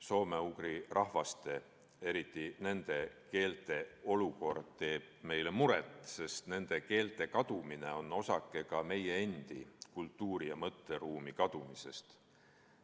Soome-ugri rahvaste, eriti nende keelte olukord teeb meile muret, sest nende keelte kadumine on osake meie enda kultuuri ja mõtteruumi kadumisest.